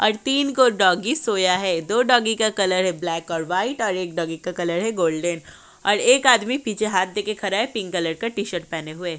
और तीन को डॉगी सोया है। दो डॉगी का कलर है ब्लैक और वाइट और एक डॉगी का कलर है गोल्डन और एक आदमी पीछे हाथ देके खरा है| पिंक कलर का टीशर्ट पहने हुए।